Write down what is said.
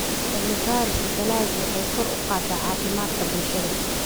Cilmi-baarista dalaggu waxay kor u qaadaa caafimaadka bulshada.